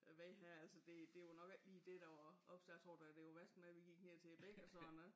Øh vej her altså det det var nok ikke lige dét der var obs jeg tror det var værst det med vi gik ned til æ bæk og sådan noget